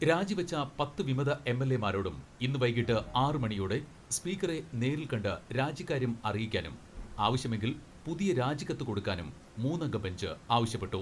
രാജിവെച്ച പത്ത് വിമത എം.എൽ.എമാരോടും ഇന്ന് വൈകീട്ട് ആറു മണി യോടെ സ്പീക്കറെ നേരിൽ കണ്ട് രാജിക്കാര്യം അറിയിക്കാനും ആവശ്യമെ ങ്കിൽ പുതിയ രാജിക്കത്ത് കൊടുക്കാനും മൂന്നംഗ ബെഞ്ച് ആവശ്യപ്പെട്ടു.